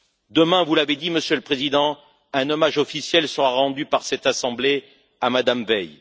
Demain, vous l'avez dit, Monsieur le Président, un hommage officiel sera rendu par cette Assemblée à Mme Veil